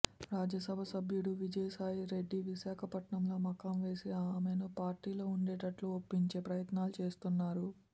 రాజ్యసభ సభ్యుడు విజయసాయిరెడ్డి విశాఖపట్నంలో మకాం వేసి ఆమెను పార్టీలో ఉండేటట్లు ఒప్పించే ప్రయత్నాలు చేస్తున్నారు